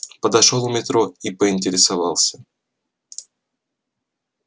подошёл у метро и поинтересовался